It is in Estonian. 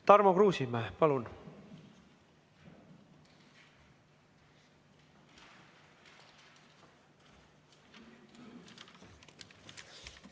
Tarmo Kruusimäe, palun!